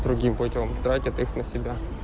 другим путём тратят их на себя